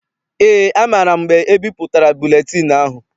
Eé, amaara m mgbe ebipụtara buletịịnụ ahụ.